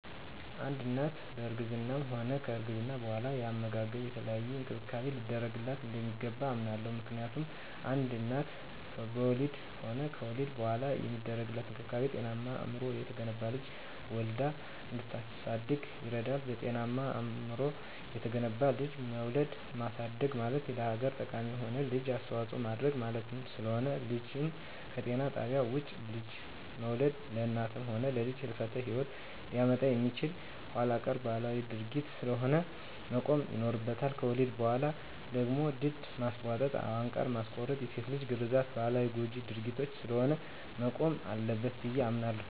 አንድ እናት በእርግዝናዋም ሆነ ከወሊድ በኋላ የአመጋገብና የተለያየ እንክብካቤ ሊደረግላት እንደሚገባ አምናለሁ። ምክንያቱም አንድ እናት በወሊድም ሆነ ከወሊድ በኋላ የሚደረግላት እንክብካቤ ጤናማና አእምሮው የተገነባ ልጅ ወልዳ እንድታሳድግ ይረዳታል። ጤናማና አእምሮው የተገነባ ልጅ መውለድና ማሳደግ ማለት ለሀገር ጠቃሚ የሆነ ልጅ አስተዋጽኦ ማድረግ ማለት ስለሆነ። ልጅን ከጤና ጣቢያ ውጭ ልጅን መውለድ ለእናትም ሆነ ለልጅ የህልፈተ ሂወት ሊያመጣ የሚችል ኋላቀር ባህላዊ ድርጊት ስለሆነ መቆም ይኖርበታል። ከወሊድ በኋላ ደግሞ ድድ ማስቧጠጥ፣ አንቃር ማስቆረጥና የሴት ልጅ ግርዛት ባህላዊና ጎጅ ድርጊት ስለሆነ መቆም አለበት ብየ አምናለሁ።